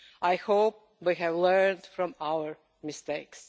I hope we have learned from our mistakes.